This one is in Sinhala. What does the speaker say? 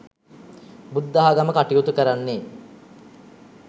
බුද්ධාගම කටයුතු කරන්නේ